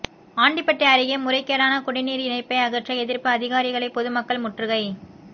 ஆண்டிபட்டி அருகே முறைகேடான குடிநீா் இணைப்பை அகற்ற எதிா்ப்பு அதிகாரிகளை பொதுமக்கள் முற்றுகை